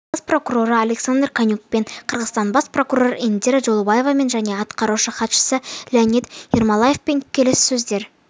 бас прокуроры александр конюкпен қырғызстан бас прокуроры индира джолдубаевамен және атқарушы хатшысы леонид ермолаевпен келіссөздер